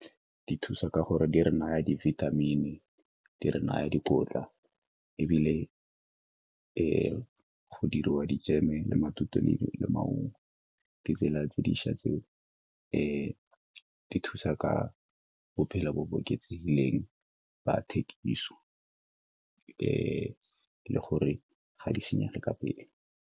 Di thusa ka gore di re naya dibithamini, di re naya dikotla ebile go diriwa dijeme, matute le maungo ke tsela tse dišwa tseo di thusa ka bophelo bo bo oketsegileng ba thekiso e le gore ga di senyege ka pele.